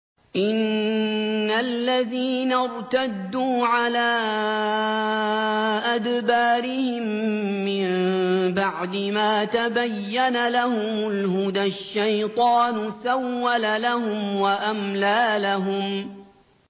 إِنَّ الَّذِينَ ارْتَدُّوا عَلَىٰ أَدْبَارِهِم مِّن بَعْدِ مَا تَبَيَّنَ لَهُمُ الْهُدَى ۙ الشَّيْطَانُ سَوَّلَ لَهُمْ وَأَمْلَىٰ لَهُمْ